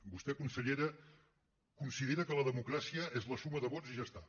vostè consellera considera que la democràcia és la suma de vots i ja està